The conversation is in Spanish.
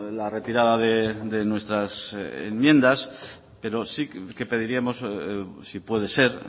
la retirada de nuestras enmiendas pero sí que pediríamos si puede ser